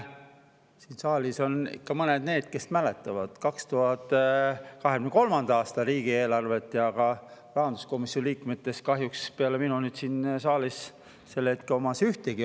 Siin saalis on ka mõned nendest, kes mäletavad 2023. aasta riigieelarve, rahanduskomisjoni liikmetest pole kahjuks peale minu siin saalis hetkel ühtegi.